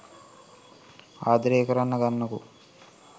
ආදරේ කරන්න ගන්නකෝ.